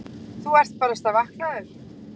Þú ert barasta vaknaður.